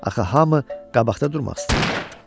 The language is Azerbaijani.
Axı hamı qabaqda durmaq istəyirdi.